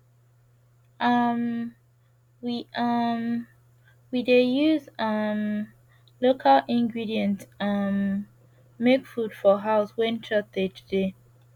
um we um we dey use um local ingredients um make food for house wen shortage dey